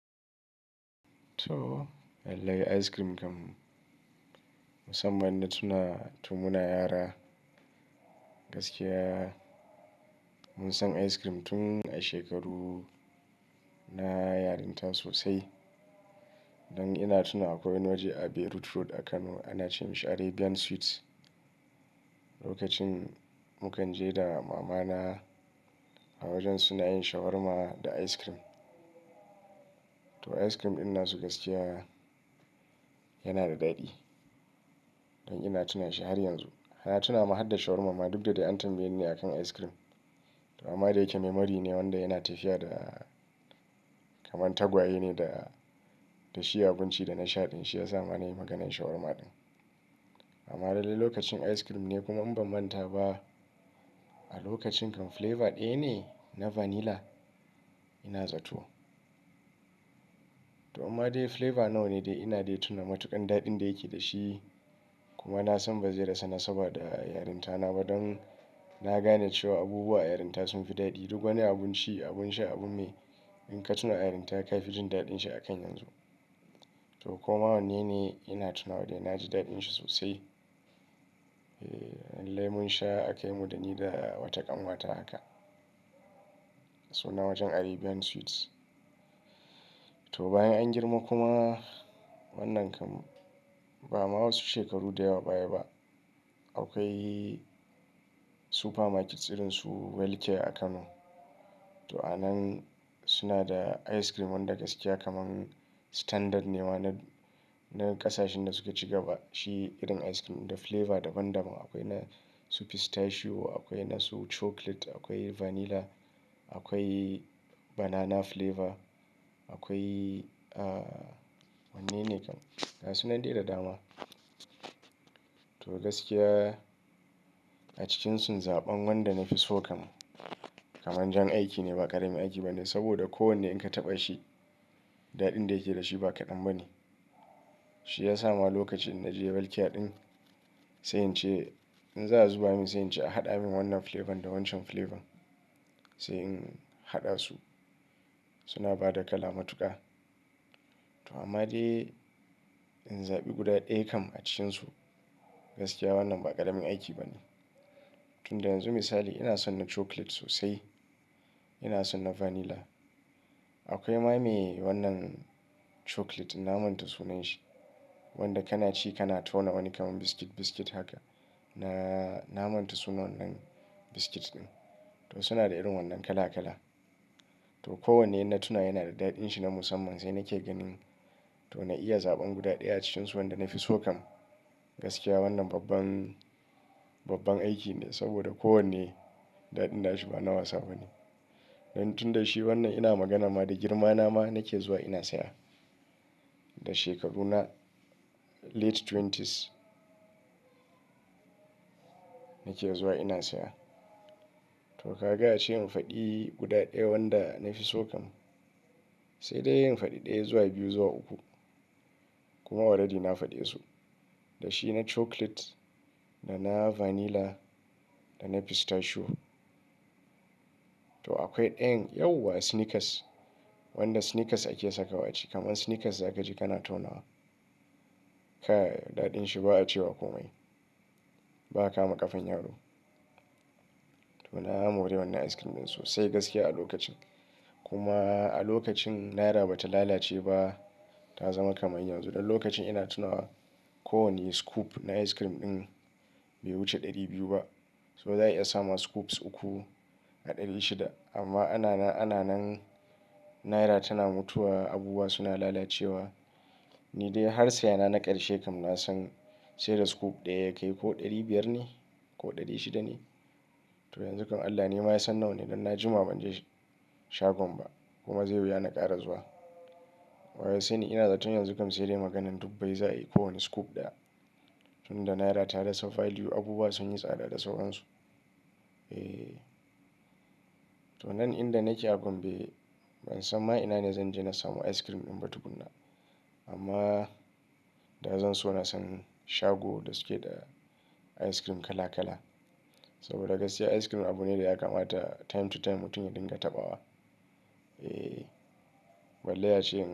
To, lallai ice cream kam. Musamman na tuna, tun muna yara. Gaskiya mun san ice cream tun a shekaru na yarinta sosai. Dan ina tuna akwai wani waje a Road a Kano ana ce masa Arabian Sweets. Lokacin mu kan je da mamata a wajen suna yin shawarma da ice cream. To ice cream ɗin nasu gaskiya yana da daɗi. Don ina tuna shi har yanzu. Na tuna ma hadda shawarma ma duk da dai an tambaye ni ne a kan ice cream. Amma da yake tunanii ne wanda yana tafiya da kamar tagwaye ne da, da shi abinci da na sha ɗin shi ya sa ma na yi maganan shawarma ɗin. Amma dai lokacin ice cream ne kuma in ban manta ba a lokacin kam flavour ɗaya ne na vanilla. Ina zato. To amma dai flavor nawa ne da ina dai tuna matuƙar daɗin da yake da shi. Kuma na san ba zai rasa na saboda yarinta na ba. Don na gane cewa abubuwa a yarinta sun fi daɗi. Duk wani abun ci, abun sha, abun mai. In ka tuna yarinta ka fi jin daɗin shi a kan yanzu. To koma wanne ne ina tuna wa dai na ji daɗin shi sosai. Eh, lemon sha a kai mu da ni da wata ƙanwata haka. Sunan wajen Arabian Sweets. To bayan an girma kuma wannan kam ba ma wasu shekaru da yawa baya ba. Akwai supermarket sirinsu Welcare a Kano. To a nan suna da ice cream wanda gaskiya kamar standard ne ma na, na ƙasashen da suka c iga ba. Shi irin ice cream da flavor daban daban. Akwai na su pistachio, akwai na su chocolate, akwai vanilla, akwai banana flavour, akwai, ah, wanne ne kam? Ga Sunan dai da dama. To gaskiya a cikinsu zaɓan wanda na fi so kam kamar jan aiki ne ba ƙaramin aiki ba ne. Saboda kowanne in ka taɓa shi, daɗin da yake da shi ba kaɗan ba ne. Shi ya sa ma lokacin na je Welcare ɗin sai in ce in za su bani, sai in ce a haɗa min wannan flavor da wancan flavor. Sai in haɗa su. Suna ba da kala matuƙa. To amma dai in zaɓi guda ɗaya kam a cikinsu, gaskiya wannan ba ƙaramin aiki ba ne. Tun da yanzu misali ina son na chocolate sosai. Ina son na vanilla. Akwai ma me wannan chocolate din na manta sunan sa. Wanda kana ci kana tauna wani kaman biskit, biscuit haka. Na, na manta sunan wannan biskit ɗin. To suna da irin wannan kala kala. To kowanne ina tuna yana da daɗin shi na musamman. Sai nake ganin to na iya zaɓi guda ɗaya a cikinsu wanda na fi so kam. Gaskiya wannan babban, babban aiki ne saboda kowanne daɗin da shi ba na wasa ba ne. Don tun da shi wannan ina magana ma da girma na ma nake zuwa ina saya. Da shekaru na ƙarshen shekaru ashirin Nake zuwa ina saya. To ka ga ace in faɗi guda ɗaya wanda na fi so kam. Sai dai in faɗi ɗaya ya zuwa biyu, zuwa uku. Kuma tuni na faɗe su. Da shi na chocolate da na vanilla da na pistachio. To akwai ɗayan ɗayan nau’in sneakers wanda sneakers ake sakawa a ciki. Kaman sneakers za ka ji kana tauna wa. Kaya daɗin shi ba a ce wa komai. Ba a kama ƙafan yaro. To na gama wurin wannan ice cream ɗin sosai gaskiya a lokacin. Kuma a lokacin naira ba ta yi rauni ba ta zama kamar yanzu. Don lokacin ina tuna kowani scoop na ice cream ɗin bai wuce ɗari biyu ba. Saboda za a iya samowa scoops uku a ɗari shida. Amma a na nan, a na nan naira tana mutuwa, abubuwa suna lalacewa. Ni dai har saye na na ƙarshe kam na san sai da scoop ɗaya ya kai ko ɗari biyar ne ko ɗari shida ne. To yanzu kam Allah ne ma ya san nawa ne don na jima ban je shagon ba. Kuma zai yi wuya na ƙara zuwa. Wa ya sani ina zaton yanzu kam sai dai magana dubbai za a yi kowani scoop ɗaya. Tun da naira ta rasa value abubuwa sun yi tsada da sauransu. Eh. To nan inda nake a Gombe ban san ma'ana ne zan je na samu ice cream ɗin ba tukunna. Amma da zan so na san shago da suke da ice cream kala kala. Saboda gaskiya ice cream abu ne da ya kamata time to time mutum ya dinga taɓawa. Eh. Balle acem.